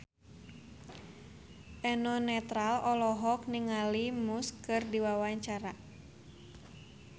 Eno Netral olohok ningali Muse keur diwawancara